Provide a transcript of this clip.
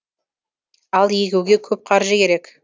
ал егуге көп қаржы керек